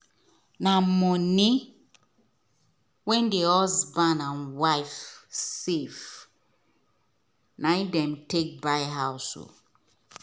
na money wen the husband and wife safe na them take buy house